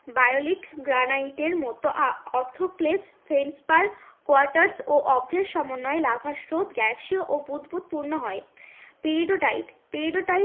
Biolite গ্রানাইটের মতো অর্থ ও অভ্রের সমন্বয়ে লাভা স্রোত গ্যাসিও বুদবুদ পূর্ন হয়। পীরিটোটাইট, পীরিটোটাইট